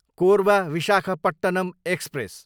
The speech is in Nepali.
कोरबा, विशाखापट्टनम एक्सप्रेस